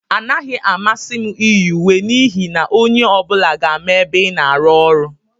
Anaghị m amasị m iyi uwe n'ihi na onye ọ bụla ga-ama ebe ị na-arụ ọrụ.